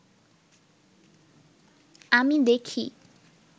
আমি দেখি